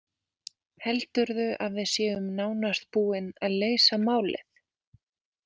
Heldurðu að við séum nánast búin að leysa málið?